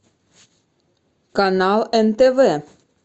канал нтв